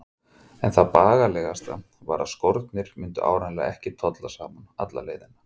En það bagalegasta var að skórnir myndu áreiðanlega ekki tolla saman alla leiðina.